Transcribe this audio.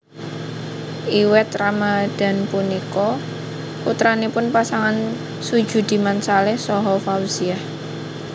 Iwet Ramadhan punika putranipun pasangan Sujudiman Saleh saha Fauziah